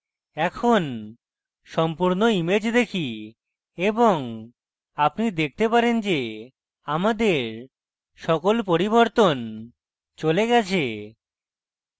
এখন সম্পূর্ণ image দেখি এবং আপনি দেখতে পারেন যে আমাদের সকল পরিবর্তন চলে গেছে